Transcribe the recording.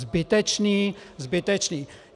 Zbytečné, zbytečné.